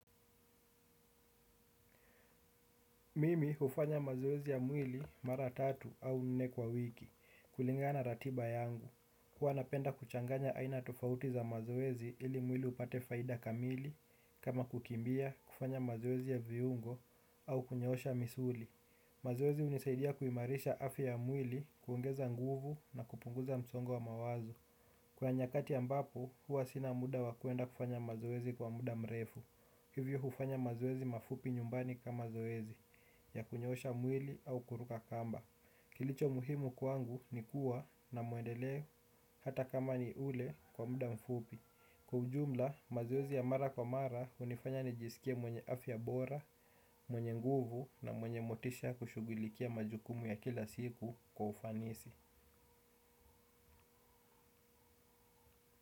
Mimi ufanya mazoezi ya mwili mara tatu au nne kwa wiki, kulingana na ratiba yangu. Huwa napenda kuchanganya aina tofauti za mazoezi ili mwili upate faida kamili, kama kukimbia, kufanya mazoezi ya viungo, au kunyoosha misuli. Mazoezi unisaidia kuimarisha afya ya mwili, kuongeza nguvu na kupunguza msongo wa mawazo. Kwa nyakati ambapo, huwa sina muda wakuenda kufanya mazoezi kwa muda mrefu. Hivyo ufanya mazoezi mafupi nyumbani kama zoezi. Ya kunyoosha mwili au kuruka kamba. Kilicho muhimu kwangu ni kuwa na mwendeleo hata kama ni ule wa muda mfupi. Kwa ujumla, mazoezi ya mara kwa mara unifanya nijisikie mwenye afya bora, mwenye nguvu na mwenye motisha kushugulikia majukumu ya kila siku kwa ufanisi.